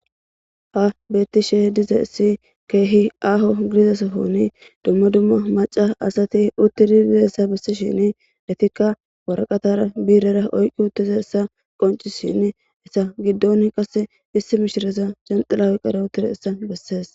ha beettishe dize esi keehi aho gidizasohoni dumma dumma maca asati uttidi dizessa bessishin detikka waraqatara biirera oyqqi uttiza essa qonci shin esa giddon qasse issi mishiraza jenxilaawi qara utire essa bessees